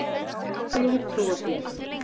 Já, ég hef trú á því.